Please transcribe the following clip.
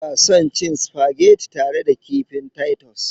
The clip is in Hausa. Ina son cin supageti tare da kifin Titus.